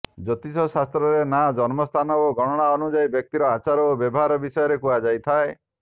ଜ୍ୟୋତିଷ ଶାସ୍ତ୍ରରେ ନାଁ ଜନ୍ମସ୍ଥାନ ଓ ଗଣନା ଅନୁଯାୟୀ ବ୍ୟକ୍ତିର ଆଚାର ଓ ବ୍ୟବହାର ବିଷୟରେ କୁହାଯାଇଥାଏ